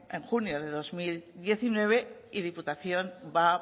en junio de dos mil diecinueve y diputación va